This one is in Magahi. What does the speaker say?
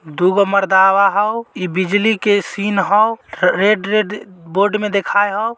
दुगो मार्दवा हौ ई बिजली के सिन हौ। रेड रेड बोर्ड में दिखाय हौ।